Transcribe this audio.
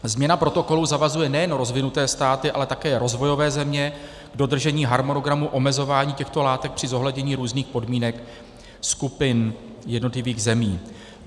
Změna protokolu zavazuje nejen rozvinuté státy, ale také rozvojové země, k dodržení harmonogramu omezování těchto látek při zohlednění různých podmínek skupin jednotlivých zemí.